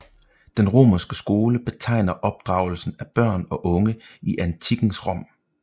Den romerske skole betegner opdragelsen af børn og unge i antikkens Rom